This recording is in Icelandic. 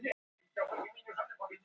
Arent, hvernig kemst ég þangað?